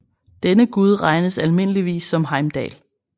Denne gud regnes almindeligvis som Heimdall